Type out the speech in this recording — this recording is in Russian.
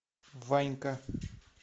ванька